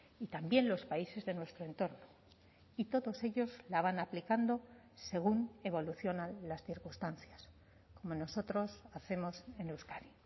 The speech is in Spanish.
y también los países de nuestro entorno y todos ellos la van aplicando según evolucionan las circunstancias como nosotros hacemos en euskadi